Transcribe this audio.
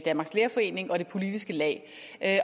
danmarks lærerforening og det politiske lag